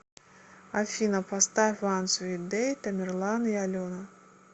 афина поставь ван свит дэй тамерлан и алена